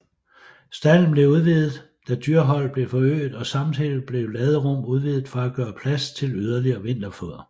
Stalden blev udvidet da dyreholdet blev forøget og samtidig blev laderum udvidet for at gøre plads til yderligere vinterfoder